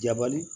Jabali